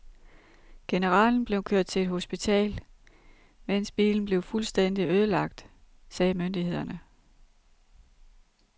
Generalen blev kørt til et hospital, mens bilen blev fuldstændigt ødelagt, sagde myndighederne.